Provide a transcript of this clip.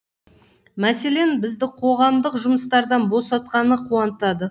мәселен бізді қоғамдық жұмыстардан босатқаны қуантады